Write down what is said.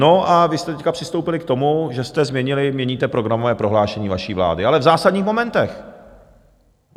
No a vy jste teď přistoupili k tomu, že jste změnili, měníte programové prohlášení vaší vlády, ale v zásadních momentech.